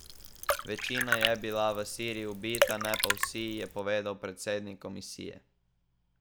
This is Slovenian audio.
Večina je bila v Siriji ubita, ne pa vsi, je povedal predsednik komisije.